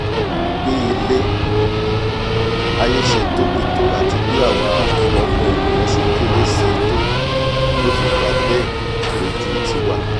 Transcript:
bí ilé-aiyé ṣe tóbi tó àti bí àwa ọmọ ènìà ṣe kéré síi to ló fi dà bẹ́ẹ̀ lójú tiwa